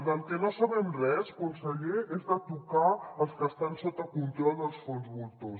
del que no sabem res conseller és de tocar els que estan sota control dels fons voltors